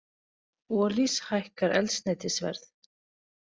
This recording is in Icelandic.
Olís hækkar eldsneytisverð